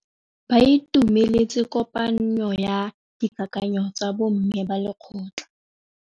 Ba itumeletse kôpanyo ya dikakanyô tsa bo mme ba lekgotla.